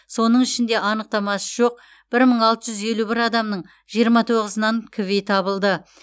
соның ішінде анықтамасы жоқ бір мың алты жүз елу бір адамның жиырма тоғызынан кви табылды